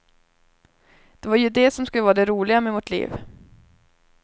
Det var ju det som skulle vara det roliga med vårt liv.